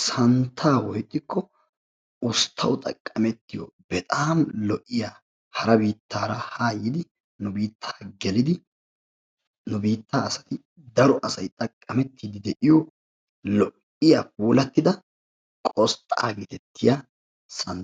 santaa Tiransporttiyaanne kaamiya ha asati cadiidi de'iyo koyro tokketidaagee de'iyo